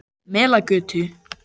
Melagötu